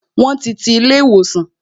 Won ti ti ilé ìwòsàn